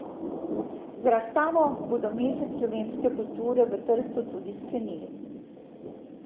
Z razstavo bodo mesec slovenske kulture v Trstu tudi sklenili.